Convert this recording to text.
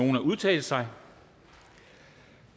nogen at udtale sig